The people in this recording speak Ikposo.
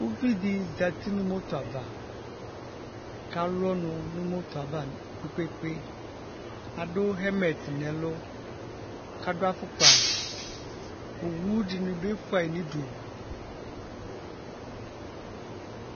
Uvidi zati nu moto ava kalu ɔnu nu moto ava kpekpe adu hɛmɛt nu ɛlu kadu afokpa owu dini bi fuayi nu udu